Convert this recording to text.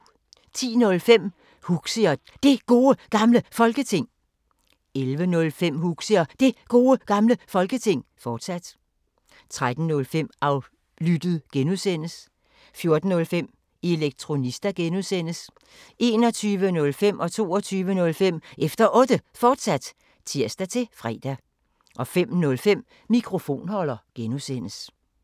10:05: Huxi og Det Gode Gamle Folketing 11:05: Huxi og Det Gode Gamle Folketing, fortsat 13:05: Aflyttet G) 14:05: Elektronista (G) 21:05: Efter Otte, fortsat (tir-fre) 22:05: Efter Otte, fortsat (tir-fre) 05:05: Mikrofonholder (G)